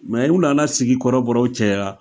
Mɛ u nana sigi kɔrɔbɔrɔw cɛya